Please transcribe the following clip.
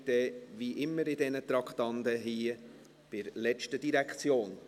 Die Gesamtabstimmung folgt, wie immer bei dieser Art von Traktanden, bei der letzten Direktion.